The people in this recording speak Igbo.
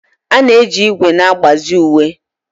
A na-eji ígwè na-agbazi uwe.